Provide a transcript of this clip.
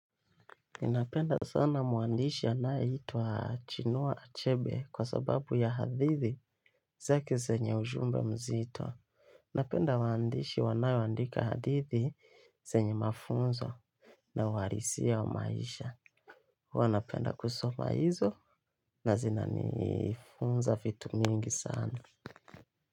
Ninapenda sana mwandishi anayeitwa Chinua Achebe kwa sababu ya hadithi zake zenye ujumbe mzito. Napenda waandishi wanaoandika hadithi zenye mafunzo na uhalisia wa maisha. Huwa napenda kusoma hizo, na zinanifunza vitu mingi sana.